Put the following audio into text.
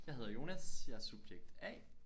Jeg hedder Jonas jeg er subjekt A